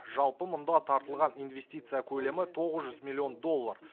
жалпы мұнда тартылған инвестиция көлемі тоғыз жүз миллион доллар